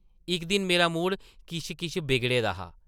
इक दिन मेरा मूड किश-किश बिगड़े दा हा ।